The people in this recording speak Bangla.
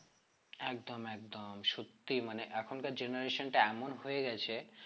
একদম একদম সত্যি মানে এখনকার generation টা এমন হয়ে গেছে